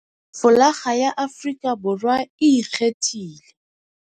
Folakga ya Afrika Borwa e ikgethile.